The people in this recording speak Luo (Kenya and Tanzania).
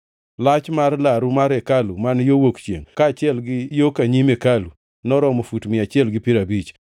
Lach mar laru mar hekalu man yo wuok chiengʼ, kaachiel gi yo ka nyim hekalu, noromo fut mia achiel gi piero abich.